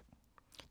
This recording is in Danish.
TV 2